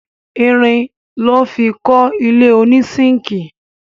Irin lọ́ fi kọ́ ilé ònísínkìì